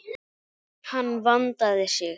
Hann vandaði sig.